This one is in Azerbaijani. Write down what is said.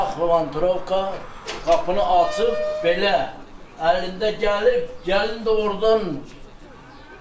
Bıçaq, lovantikala qapını açıb belə əlində gəlib, gəlin də ordan görüb ki, gəlindi.